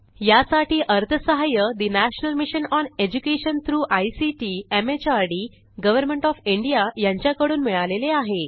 यासाठी अर्थसहाय्य national mission on education through ICT MHRD government O F India यांच्याकडून मिळालेले आहे